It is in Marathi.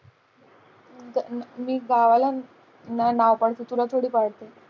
मी गावाला थोडी पाडते.